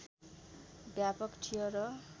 व्यापक थियो र